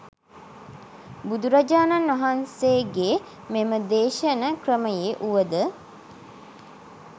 බුදුරජාණන් වහන්සේගේ මෙම දේශන ක්‍රමයේ වුවද